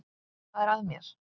Hvað er að mér?